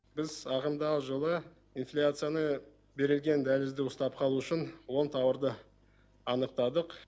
біз ағымдағы жылы инфляцияны берілген дәлізде ұстап қалу үшін он тауарды анықтадық